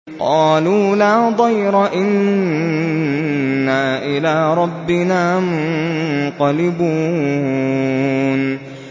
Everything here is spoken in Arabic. قَالُوا لَا ضَيْرَ ۖ إِنَّا إِلَىٰ رَبِّنَا مُنقَلِبُونَ